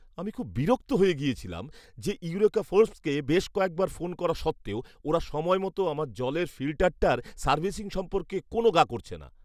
আমি খুব বিরক্ত হয়ে গিয়েছিলাম যে ইউরেকা ফোর্বসকে বেশ কয়েকবার ফোন করা সত্ত্বেও ওরা সময়মতো আমার জলের ফিল্টারটার সার্ভিসিং সম্পর্কে কোনও গা করছে না।